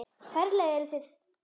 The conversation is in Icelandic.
Ferlega eruð þið